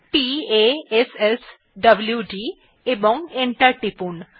p a s s w d এবং enter টিপুন